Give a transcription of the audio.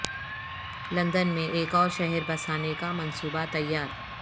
لند ن میں ایک اور شہر بسا نے کا منصو بہ تیا ر